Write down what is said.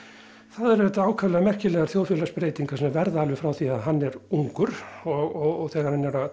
það eru auðvitað ákaflega merkilegar þjóðfélagsbreytingar sem verða alveg frá því að hann er ungur og þegar hann er að